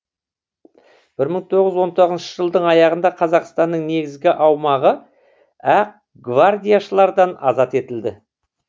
бір мың тоғыз жүз он тоғызыншы жылдың аяғында қазақстанның негізгі аумағы ақ гвардияшылардан азат етілді